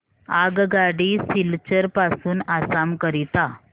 आगगाडी सिलचर पासून आसाम करीता